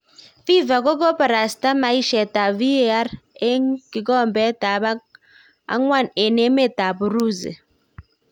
fifa kokoparastan maishet ap VAR eng kikobet ap kwang eng emet ap Urusi.